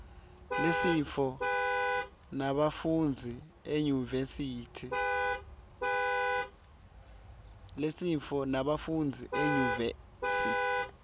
lisontfo lebafundzi enyuvesi